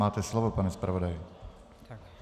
Máte slovo, pane zpravodaji.